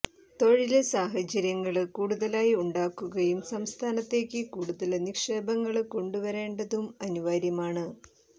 തൊഴില് സാഹചര്യങ്ങള് കൂടുതലായി ഉണ്ടാക്കുകയും സംസ്ഥാനത്തേക്ക് കൂടുതല് നിക്ഷേപങ്ങള് കൊണ്ടുവരേണ്ടതും അനിവാര്യമാണ്